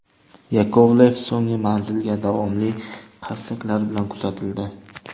Yakovlev so‘nggi manzilga davomli qarsaklar bilan kuzatildi.